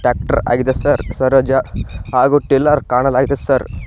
Tractor ಆಗಿದೆ sir Swaraj ಹಾಗು tiller ಕಾಣಲಾಗಿದೆ ಸರ್ .